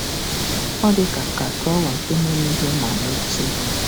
Ọ dị ka ka drawer nke na-emeghe ma mechie.